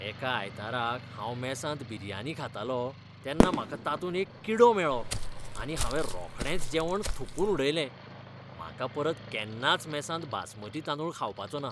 एका आयताराक हांव मॅसांत बिरियानी खातालो तेन्ना म्हाका तातूंत एक किडो मेळ्ळो आनी हांवें रोखडेंच जेवण थुंकून उडयलें. म्हाका परत केन्नाच मॅसांत बासमती तांदूळ खावपाचे ना.